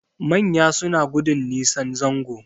Manya suna gudun nisan zango